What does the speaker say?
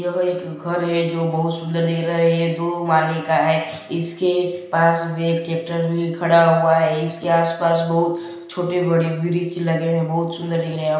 यह एक घर है जो बहुत सुंदर दिख रहा है दो माले का है इसके पास में ट्रैक्टर भी खड़ा हुआ है इसके आस पास बहुत छोटे बड़े वृक्ष लगे